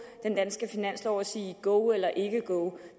den danske finanslov og sige go eller ikke go